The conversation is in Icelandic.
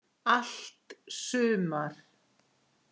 Allt sumar